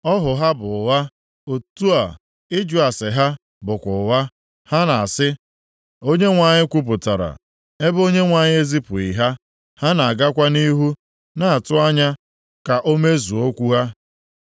Ọhụ ha bụ ụgha, otu a, ịjụ ase ha bụkwa ụgha, ha na-asị, “ Onyenwe anyị kwupụtara,” ebe Onyenwe anyị ezipụghị ha, ha na-agakwa nʼihu na-atụ anya ka o mezuo okwu ha.